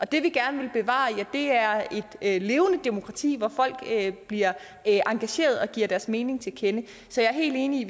det vi gerne vil bevare er et levende demokrati hvor folk bliver engageret og giver deres mening til kende så jeg er helt enig i